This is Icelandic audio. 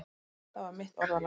Það var mitt orðalag.